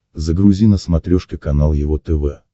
загрузи на смотрешке канал его тв